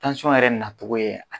yɛrɛ nacogo ye